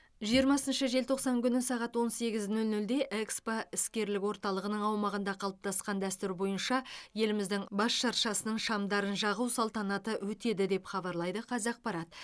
жиырмасыншы желтоқсан күні сағат он сегіз нөл нөлде экспо іскерлік орталығының аумағында қалыптасқан дәстүр бойынша еліміздің бас шыршасының шамдарын жағу салтанаты өтеді деп хабарлайды қазақпарат